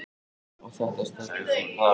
Og þetta stelpufífl á